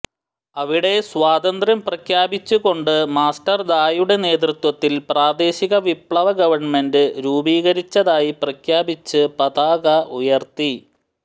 അവിടെ സ്വാതന്ത്ര്യം പ്രഖ്യാപിച്ചുകൊണ്ട് മാസ്റ്റർ ദായുടെ നേതൃത്വത്തിൽ പ്രാദേശിക വിപ്ലവ ഗവൺമെന്റ് രൂപീകരിച്ചതായി പ്രഖ്യാപിച്ച് പതാക ഉയർത്തി